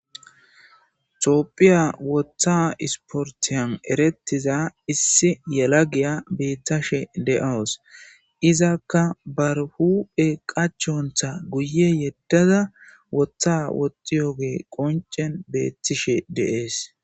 Tophiya wotha isporttiyan erettiza issi yalagiya beettashe de7awus. Izakka ba huuuphe qachontta guye yeddada wotha woxewuge qonccen beettishe de7ees.